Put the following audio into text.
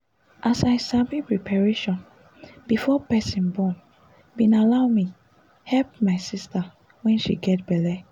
as i sabi preparation before person borne bin allow me help my sister when she gets belle